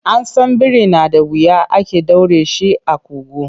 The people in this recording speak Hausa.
An san biri na da wuya ake ɗaure shi a ƙugu.